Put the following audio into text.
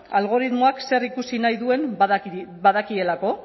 algoritmoak zerikusi nahi duen badakielako